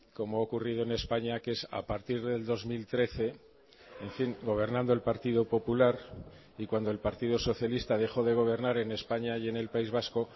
como ha ocurrido en españa que es a partir del dos mil trece en fin gobernando el partido popular y cuando el partido socialista dejó de gobernar en españa y en el país vasco